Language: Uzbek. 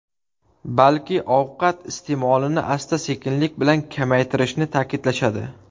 Balki, ovqat iste’molini asta-sekinlik bilan ko‘paytirishni ta’kidlashadi.